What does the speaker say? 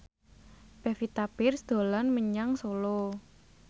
Pevita Pearce dolan menyang Solo